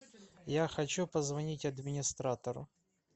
я хочу позвонить администратору